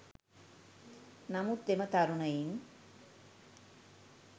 නමුත් එම තරුණයින්